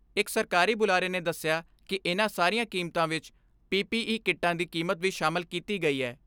ਇਕ ਸਰਕਾਰੀ ਬੁਲਾਰੇ ਨੇ ਦਸਿਆ ਕਿ ਇਨ੍ਹਾਂ ਸਾਰੀਆਂ ਕੀਮਤਾਂ ਵਿਚ ਪੀ ਪੀ ਈ ਕਿੱਟਾਂ ਦੀ ਕੀਮਤ ਵੀ ਸ਼ਾਮਲ ਕੀਤੀ ਗਈ ਐ।